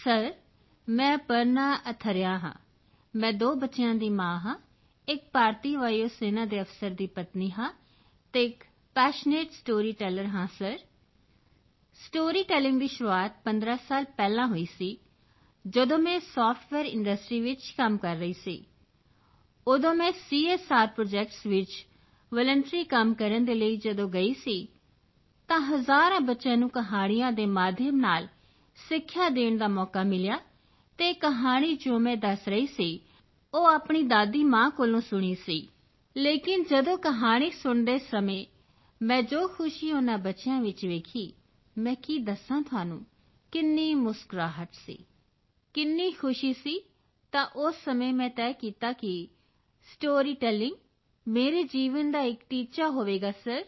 sir ਮੈਂ ਅਪਰਨਾ ਅਥਰਿਯਾ ਹਾਂ ਮੈਂ ਦੋ ਬੱਚਿਆਂ ਦੀ ਮਾਂ ਹਾਂ ਇੱਕ ਭਾਰਤੀ ਵਾਯੂ ਸੈਨਾ ਦੇ ਅਫਸਰ ਦੀ ਪਤਨੀ ਹਾਂ ਅਤੇ ਇੱਕ ਪੈਸ਼ਨੇਟ ਸਟੋਰੀ ਟੈਲਰ ਹਾਂ ਸਰ ਸਟੋਰੀ ਟੈਲਿੰਗ ਦੀ ਸ਼ੁਰੂਆਤ 15 ਸਾਲ ਪਹਿਲਾਂ ਹੋਈ ਸੀ ਜਦੋਂ ਮੈਂ ਸਾਫਟਵੇਅਰ ਇੰਡਸਟ੍ਰੀ ਵਿੱਚ ਕੰਮ ਕਰ ਰਹੀ ਸੀ ਉਦੋਂ ਮੈਂ ਸੀਐੱਸਆਰ ਪ੍ਰੋਜੈਕਟਸ ਵਿੱਚ ਵਾਲੰਟਰੀ ਕੰਮ ਕਰਨ ਦੇ ਲਈ ਜਦੋਂ ਗਈ ਸੀ ਤਾਂ ਹਜ਼ਾਰਾਂ ਬੱਚਿਆਂ ਨੂੰ ਕਹਾਣੀਆਂ ਦੇ ਮਾਧਿਅਮ ਨਾਲ ਸਿੱਖਿਆ ਦੇਣ ਦਾ ਮੌਕਾ ਮਿਲਿਆ ਅਤੇ ਇਹ ਕਹਾਣੀ ਜੋ ਮੈਂ ਦਸ ਰਹੀ ਸੀ ਉਹ ਆਪਣੀ ਦਾਦੀ ਮਾਂ ਕੋਲੋਂ ਸੁਣੀ ਸੀ ਲੇਕਿਨ ਜਦੋਂ ਕਹਾਣੀ ਸੁਣਦੇ ਸਮੇਂ ਮੈਂ ਜੋ ਖੁਸ਼ੀ ਉਨ੍ਹਾਂ ਬੱਚਿਆਂ ਵਿੱਚ ਵੇਖੀ ਮੈਂ ਕੀ ਦੱਸਾਂ ਤੁਹਾਨੂੰ ਕਿੰਨੀ ਮੁਸਕਰਾਹਟ ਸੀ ਕਿੰਨੀ ਖੁਸ਼ੀ ਸੀ ਤਾਂ ਉਸੇ ਸਮੇਂ ਮੈਂ ਤੈਅ ਕੀਤਾ ਕਿ ਸਟੋਰੀ ਟੈਲਿੰਗ ਮੇਰੇ ਜੀਵਨ ਦਾ ਟੀਚਾ ਹੋਵੇਗਾ ਸਰ